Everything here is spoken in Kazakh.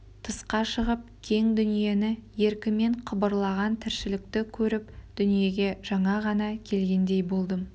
тысқа шығып кең дүниені еркімен қыбырлаған тіршілікті көріп дүниеге жаңа ғана келгендей болдым